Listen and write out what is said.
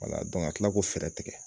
ka kila ko fɛrɛ tigɛ.